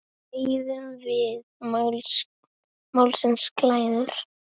Deyðum við málsins glæður?